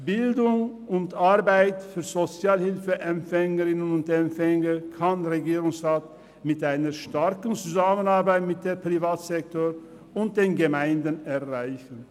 Bildung und Arbeit für Sozialhilfeempfängerinnen und -empfänger kann der Regierungsrat mit einer starken Zusammenarbeit mit dem Privatsektor und den Gemeinden erreichen.